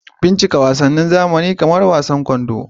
Bincika wasannin zamani kamar wasan kwando